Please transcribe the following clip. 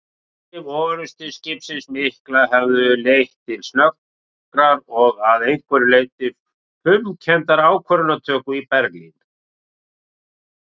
Afdrif orrustuskipsins mikla höfðu leitt til snöggrar og að einhverju leyti fumkenndrar ákvörðunartöku í Berlín.